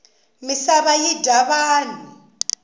misava yi dya vanhu